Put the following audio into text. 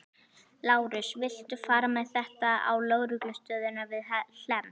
Lárus, viltu fara með þetta á lögreglustöðina við Hlemm?